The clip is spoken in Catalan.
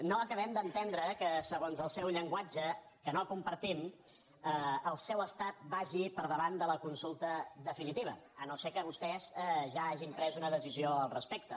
no acabem d’entendre que segons el seu llenguatge que no compartim el seu estat vagi per davant de la consulta definitiva si no és que vostès ja hagin pres una decisió al respecte